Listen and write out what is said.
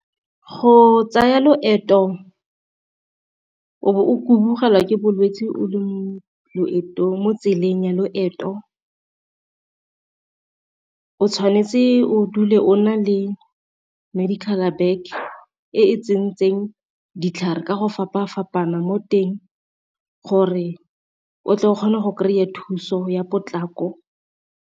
Go tsaya loeto o bo o kubugela ke bolwetsi o le mo loetong, mo tseleng ya loeto o tshwanetse o dule o na le medical bag e tsentseng ditlhare ka go fapa-fapaneng mo teng gore o tle o kgona go kry-a thuso ya potlako.